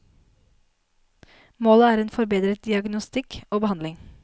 Målet er en forbedret diagnostikk og behandling.